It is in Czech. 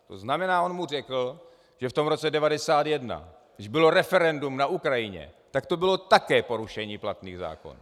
To znamená, on mu řekl, že v tom roce 1991, když bylo referendum na Ukrajině, tak to bylo také porušení platných zákonů.